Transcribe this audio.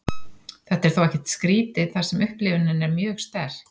þetta er þó ekkert skrítið þar sem upplifunin er mjög sterk